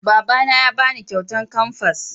Baba na ya ba ni kyautan kamfas